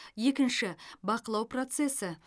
екінші бақылау процесі